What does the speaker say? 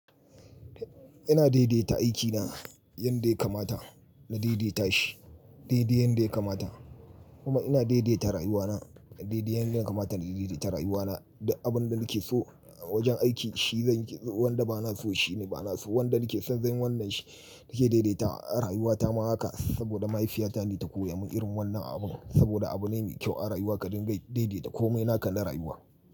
Ina daidaita aikina, yanda ya kamata na daidaita shi, daidai yanda ya kamata. Kuma ina daidaita rayuwana, daidai yanda ya kamata na daidaita rayuwana duk abin da nake so awajen aiki shi zan yi, wanda ba na so shi ne ba na so. Wanda nake son zan yi wannan shi. Nake daidaita rayuwata ma haka saboda mahaifiyata ne ta koya min irin wannan abun saboda abu ne mai kyau a rayuwa ka dinga daidaita komai naka na rayuwa.